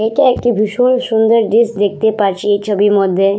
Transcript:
এটা একটি ভীষণ সুন্দর জিনিস দেখতে পারছি এই ছবির মধ্যে।